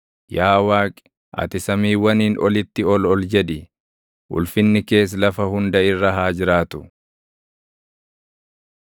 Yaa Waaqi, ati samiiwwaniin olitti ol ol jedhi; ulfinni kees lafa hunda irra haa jiraatu.